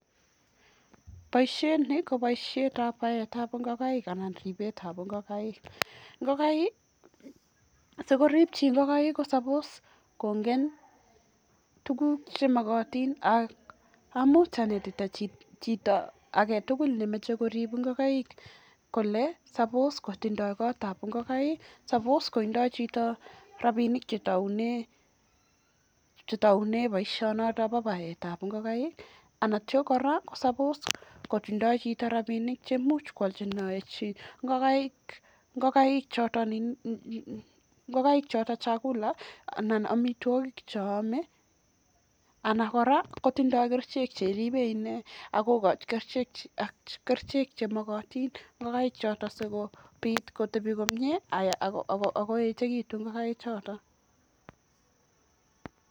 Boisiet ni koboisietab baetab ngokaik anan ripetab ngokaik. Sikoripchi ngokaik ko sabos kongen tuguk che mogotin ak amun chito age tugul nemoche korib ngokaik kole sabos kotindo gotab ingokaik, sabos kotindo chito rabinik che taune boisionoto bo baetab ngakaik anan ko kora kosabos kotindo chito rabinik che imuch koalchinen ingokaik choto chakula anan amitwogik che ame anan kora kotindo kerichek cheribe inee. Agokochi kerichek chemogotin ingokaik choton si kobiit kotebi komyee ak koechegitu ngokaik choto.